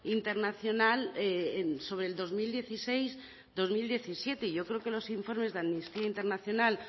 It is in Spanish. internacional sobre el dos mil dieciséis dos mil diecisiete yo creo que los informes de amnistía internacional